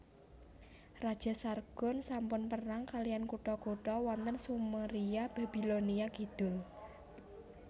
Raja Sargon sampun perang kaliyan kutha kutha wonten Sumeria Babilonia Kidul